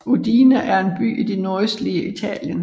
Udine er en by i det nordøstlige Italien